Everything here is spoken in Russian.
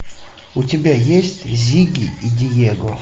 у тебя есть зигги и диего